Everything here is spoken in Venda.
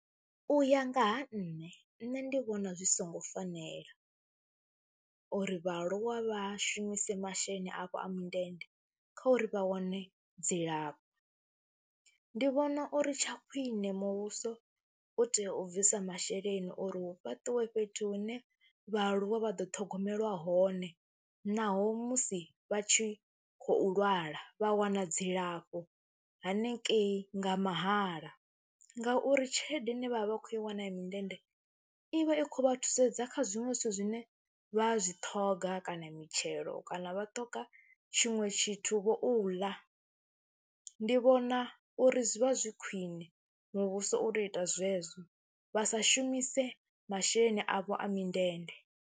U ya nga ha nṋe, nṋe ndi vhona zwi songo fanela uri vhaaluwa vha shumise masheleni avho a mindende kha uri vha wane dzilafho, ndi vhona uri tsha khwine muvhuso u tea u bvisa masheleni uri hu fhaṱiwe fhethu hune vhaaluwa vha ḓo ṱhogomelwa hone naho musi vha tshi khou lwala vha wana dzilafho hanengei nga mahala ngauri tshelede ine vha vha vha khou i wana ya mindende i vha i khou vha thusedza kha zwiṅwe zwithu zwine vha zwi ṱhoga kana mitshelo kana vha ṱhoga tshiṅwe tshithuvho u ḽa. Ndi vhona uri zwi vha zwi khwine muvhuso u tou u ita zwezwo, vha sa shumise masheleni avho a mindende.